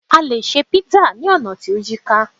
a lè ṣe pizza ni ona ti o yíká